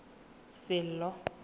sello